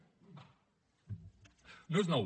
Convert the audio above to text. no és nou